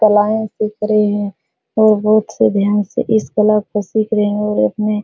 कलाऐं सीख रहे हैं औ बहुत से ध्यानस्थ इस कला को सीख रहे हैं और इतने --